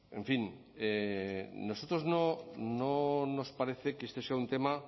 en fin a nosotros no nos parece que este sea un tema